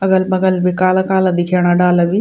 अगल बगल भी काला काला दिखेणा डाला भी ।